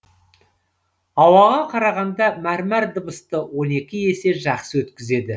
ауаға қарағанда мәрмәр дыбысты он екі есе жақсы өткізеді